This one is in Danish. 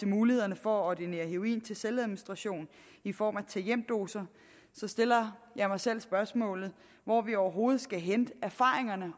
mulighederne for at ordinere heroin til selvadministration i form af tag hjem doser stiller jeg mig selv spørgsmålet hvor vi overhovedet skal hente erfaringerne